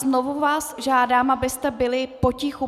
Znovu vás žádám, abyste byli potichu.